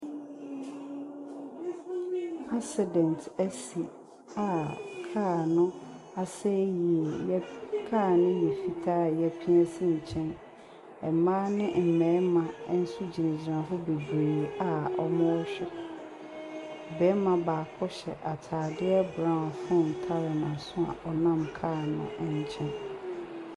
Asidɛnt asi a kaa no aseɛ yeye. Kaa no yɛ fitaa a yɛpia asi nkyɛn. Mbaa ne mmɛɛma nso gyina gyina hɔ beberee a ɔmmu hwɛ. Bɛɛma baako hyɛ ataade brauw fon tare na so a ɔnam kaa no nkyɛn.